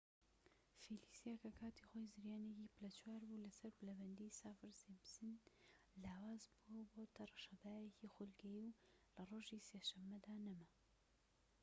فیلیسا کە کاتی خۆی زریانێکی پلە چوار بوو لەسەر پلەبەندی سافر-سیمپسن لاواز بووە و بۆتە ڕەشەبایەکی خولگەیی و لە ڕۆژی سێ شەمەدا نەما